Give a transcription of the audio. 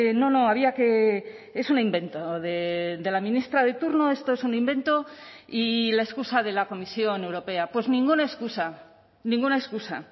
no no había que es un invento de la ministra de turno esto es un invento y la excusa de la comisión europea pues ninguna excusa ninguna excusa